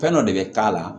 Fɛn dɔ de bɛ k'a la